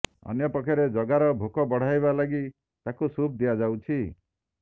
ଅନ୍ୟପକ୍ଷରେ ଜଗାର ଭୋକ ବଢ଼ାଇବା ଲାଗି ତାକୁ ସୁପ୍ ଦିଆଯାଉଛି